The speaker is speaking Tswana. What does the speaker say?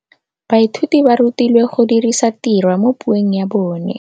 Baithuti ba rutilwe go dirisa tirwa mo puong ya bone.